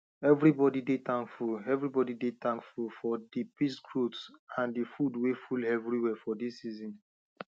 everybody dey tankful everybody dey tankful for the peace growth and the food way full everywhere for this season